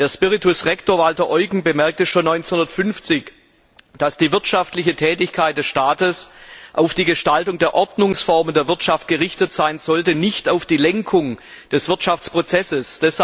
Der Spiritus Rector, Walter Eugen, bemerkte schon 1950, dass die wirtschaftliche Tätigkeit des Staates auf die Gestaltung der Ordnungsformen der Wirtschaft gerichtet sein sollte, nicht auf die Lenkung des Wirtschaftsprozesses.